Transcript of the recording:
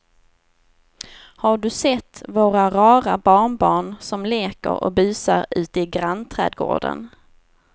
Har du sett våra rara barnbarn som leker och busar ute i grannträdgården!